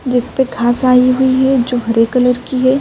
جسپے گھاس آیی ہوئی ہے۔ جو ہرے کلر کی ہے۔